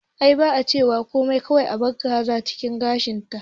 Ai ba a cewa komai kawai abar kaza cikin gashin ta